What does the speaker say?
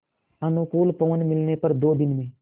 अनुकूल पवन मिलने पर दो दिन में